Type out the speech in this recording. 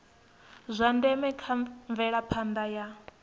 zwa ndeme kha mvelaphanda ya